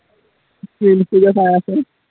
reels টোকে চাই আছো